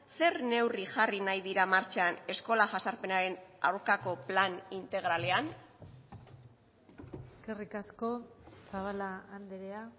zer neurri jarri nahi dira martxan eskola jazarpenaren aurkako plan integralean eskerrik asko zabala andrea